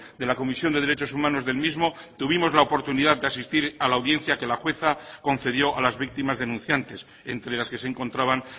de la comisión de derechos humanos del mismo tuvimos la oportunidad de asistir a la audiencia que la jueza concedió a las víctimas denunciantes entre las que se encontraban